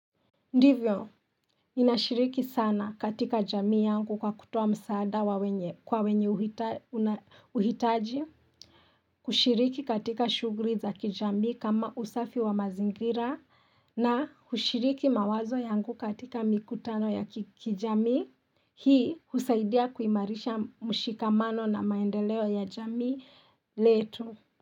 Ndivyo, ninashiriki sana katika jamii yangu kwa kutoa msaada kwa wenye huhitaji, kushiriki katika shughuli za kijamii kama usafi wa mazingira, na kushiriki mawazo yangu katika mikutano ya kijamii, hii husaidia kuimarisha mshikamano na maendeleo ya jamii letu.